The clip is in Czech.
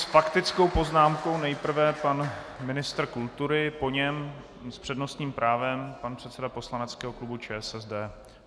S faktickou poznámkou nejprve pan ministr kultury, po něm s přednostním právem pan předseda poslaneckého klubu ČSSD.